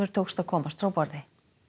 tókst að komast frá borði